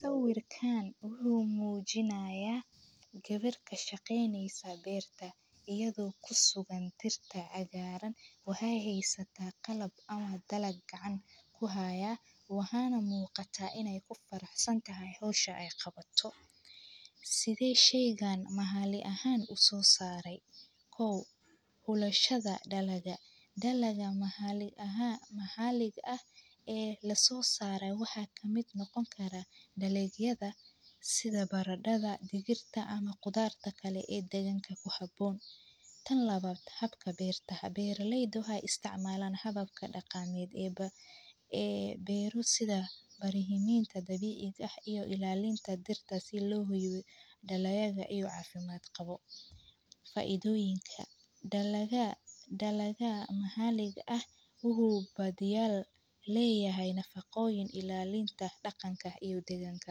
Sawirkaan wuxuu muujinayaa gebirka shaqeyneysa beerta, iyadoo ku sugan tirta cagaaran waxey hasata qalab ama dala gacan ku haya waana muuqata in ay ku faraxsan tahay hawsha ay qabato. Sidee sheygaan mahalli ahaan u soo saaray? kow Hulaashada dhalaga. Dhalaga mahallig ah. Mahallig ah ee la soo saaray waxaa ka mid noqon kara dhallinyada sida baradhada, digirta ama qudaarta kale ee deganka ku habboon. Tan labaad. Habka beertaha. Beerileydu waxaa isticmaalan hababka dhaqaaqmeed ee ba, ee beeru sida bareehiiminta dabiic ah iyo ilaalinta dirta si loogu yidhi dhaloyaga ay u caafimaad qabo faaiidooyinka. Dhalaga. Dhalaga mahallig ah wuxuu badiyaal leeyahay nafaqooyin ilaalinta dhaqankah iyo deganka.